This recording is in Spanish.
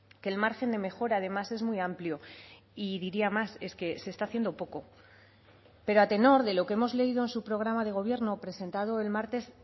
que el margen de mejora además es muy amplio y diría más es que se está haciendo poco pero a tenor de lo que hemos leído en su programa de gobierno presentado el martes